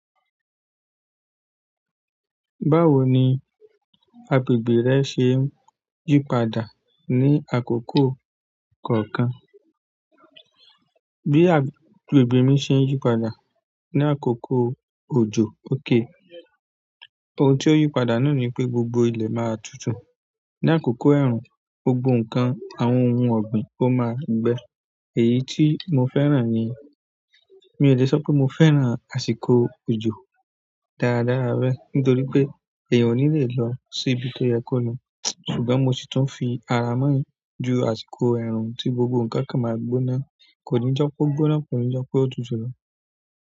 Báwo ni agbègbè rẹ ṣe ń yípadà ní àkókò kọ̀ọ̀kan? Bí agbègbè mi ṣe ń yípadà ní àkókò òjò, òkè. Ohun tí ó yípadà náà ni pé gbogbo ilẹ̀ máa tutù. Ni àkókò ẹ̀rùn, gbogbo nǹkan, àwọn ohun ọ̀gbìn ó máa gbẹ. Èyí tí mo fẹ́ràn ni. Mi ò lè sọ pé mo fẹ́ràn àsìkò òjò dáradára bẹ, nítorí pé èèyàn ò ní lè lọ sí ibi tó yẹ kó lọ. Ṣùgbọ́n mo sì tún fi ara mọ́ ju àsìkò ẹ̀rùn tí gbogbo nǹkan kí máa gbóná, kò ní jọpo gbóná, kò ní jọpe òtútù.